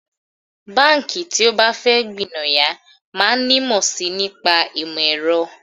Báǹkì tí ó bá fẹ́ gbìnàyá máa nímọ̀ sí i nípa ìmọ̀ ẹ̀rọ